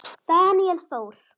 Daníel Þór.